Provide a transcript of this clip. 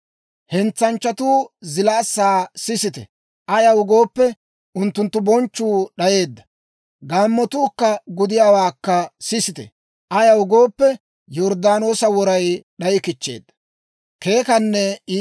Hentsanchchatuu zilaassaa sisite; ayaw gooppe, unttunttu bonchchuu d'ayeedda! Gaammotuu gudiyaawaakka sisite; ayaw gooppe, Yorddaanoosa woray d'ayikichcheedda.